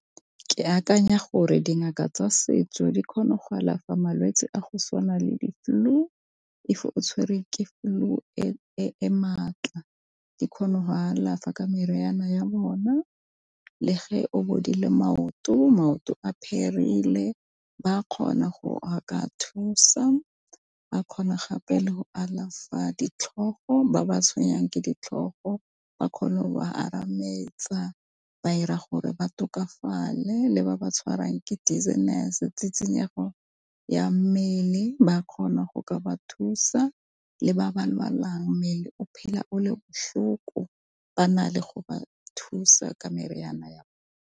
Ke akanya gore dingaka tsa setso di kgona go alafa malwetsi a go tshwana le di flu, if o tshwerwe ke flu e e maatla di kgona go alafa ka meriana ya bona. Le o bodile maoto, maoto a pherile ba kgona go a ka thusa, a kgona gape le go alafa ditlhogo ba ba tshwenyang ke ditlhogo ba kgone go ba arametsa ba ira gore ba tlhokafale, le ba ba tshwarwang ke dizziness e tsitsinyego ya mmele ba kgona go ka ba thusa, le ba ba lwalang mmele o phela o le botlhoko ba na le go ba thusa meriana .